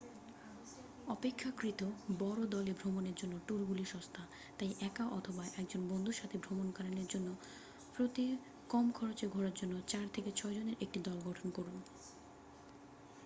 অপেক্ষাকৃত বড় দলে ভ্রমণের জন্য ট্যুরগুলি সস্তা তাই একা অথবা একজন বন্ধুর সাথে ভ্রমণকালীন জন প্রতি কম খরচে ঘোরার জন্য চার থেকে ছয়জনের একটি দল গঠন করুন